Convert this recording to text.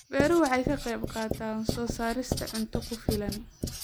Beeruhu waxay ka qayb qaataan soo saarista cunto ku filan.